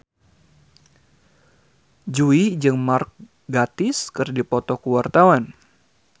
Jui jeung Mark Gatiss keur dipoto ku wartawan